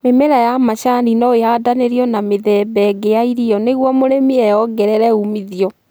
Mĩmera ya macani no ĩhandanĩrio na mĩthemba ĩngĩ ya irio nĩguo mũrĩmi eyongerere umithio